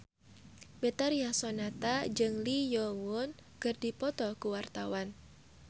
Betharia Sonata jeung Lee Yo Won keur dipoto ku wartawan